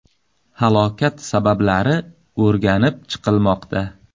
Halokat sabablari o‘rganib chiqilmoqda.